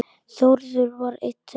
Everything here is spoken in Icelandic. Þórður var einn þeirra.